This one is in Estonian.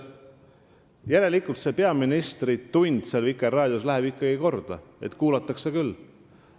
Järelikult, peaministri tund Vikerraadios läheb ikkagi korda, kuulatakse küll.